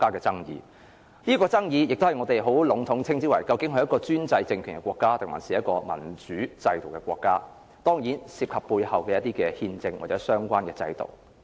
在有關爭議中，我們很籠統地談論專制政權和民主制度，當然這涉及背後的憲政或相關的制度。